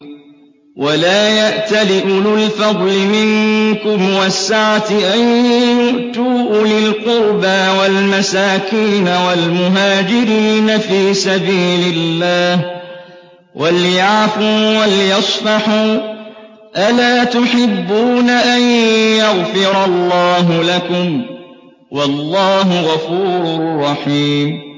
وَلَا يَأْتَلِ أُولُو الْفَضْلِ مِنكُمْ وَالسَّعَةِ أَن يُؤْتُوا أُولِي الْقُرْبَىٰ وَالْمَسَاكِينَ وَالْمُهَاجِرِينَ فِي سَبِيلِ اللَّهِ ۖ وَلْيَعْفُوا وَلْيَصْفَحُوا ۗ أَلَا تُحِبُّونَ أَن يَغْفِرَ اللَّهُ لَكُمْ ۗ وَاللَّهُ غَفُورٌ رَّحِيمٌ